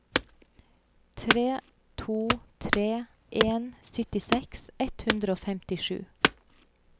tre to tre en syttiseks ett hundre og femtisju